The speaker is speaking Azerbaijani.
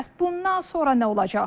Bəs bundan sonra nə olacaq?